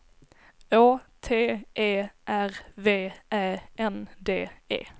Å T E R V Ä N D E